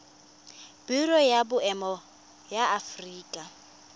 biro ya boemo ya aforika